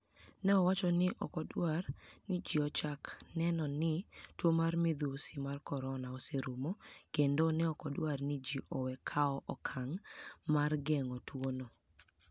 ni e owacho nii ni eok odwar nii ji ochak ni eno nii tuo mar midhusi mar koronia oserumo kenido ni eok odwar ni ji owe kawo okanig' mar genig'o tuwono.